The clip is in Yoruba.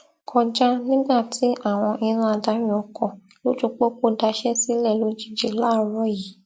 kọjá nígbà tí àwọn iná adarí ọkọ lójú pópó daṣẹ sílẹ lójijì láàárọ yìí